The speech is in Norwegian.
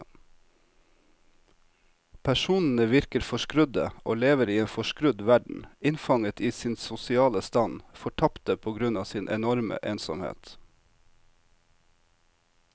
Personene virker forskrudde og lever i en forskrudd verden, innfanget i sin sosiale stand, fortapte på grunn av sin enorme ensomhet.